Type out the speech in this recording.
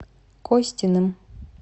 костиным